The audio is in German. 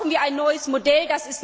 Dafür brauchen wir ein neues Modell.